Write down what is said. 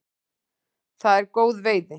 Það er góð veiði.